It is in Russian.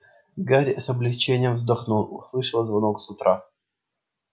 гарри с облегчением вздохнул услышав звонок с урока